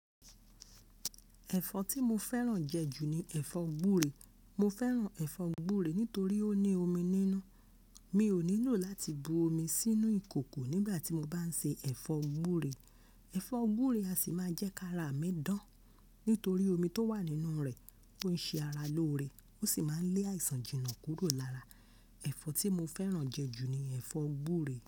Ẹ̀fọ́ tí mo fẹ́ràn jẹ ju ni ẹ̀fọ́ gbúre. Mo fẹ́ràn ẹ̀fọ́ gbúre nítorí ó ní omi nínú. Mi ò nílò láti bu omi sínú ìkòkò nígbà tí mo bá ń se ẹ̀fọ́ gbúre. Ẹ̀fọ́ gbúre a sì máa jẹ́ kí ara mi dán nítorí omi tó wà nínú rẹ̀. Ó ń ṣe ara lóore, ó sì máa ń lé àìsàn Jìnà kúrò lára. Ẹ̀fọ́ tí mo fẹ́ràn jẹ ju ni ẹ̀fọ́ gbúre.